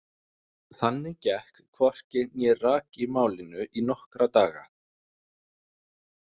Þannig gekk hvorki né rak í málinu í nokkra daga.